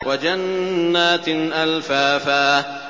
وَجَنَّاتٍ أَلْفَافًا